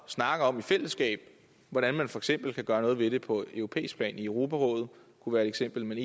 snakke om i fællesskab hvordan man for eksempel kan gøre noget ved det på europæisk plan i europarådet kunne være et eksempel men